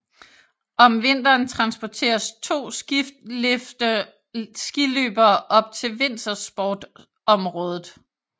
Om vinteren transporterer to skilifte skiløbere op til vintersportsområdet